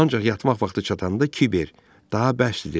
Ancaq yatmaq vaxtı çatanda Kiber daha bəsdir dedi.